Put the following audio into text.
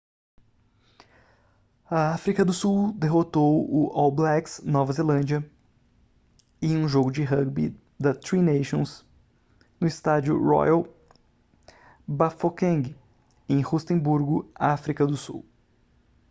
a áfrica do sul derrotou o all blacks nova zelândia em um jogo de rúgbi da tri nations no estádio royal bafokeng em rustemburgo áfrica do sul